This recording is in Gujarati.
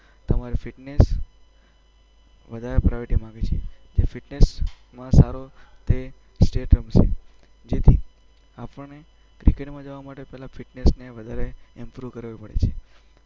તમારે ફિટનેસ વધારે પ્રાયોરિટીમાં આવે છે. જે ફિટનેસમાં સારો તે સ્ટેટ રમશે. જેથી આપણે ક્રિકેટમાં જવા માટે પહેલાં આપણે ફિટનેસને એમ્પ્રૂવ કરવી પડે છે.